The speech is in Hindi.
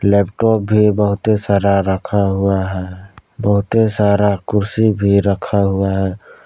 लैपटॉप भी बहुते सारा रखा हुआ है बहुते सारा कुर्सी भी रखा हुआ है।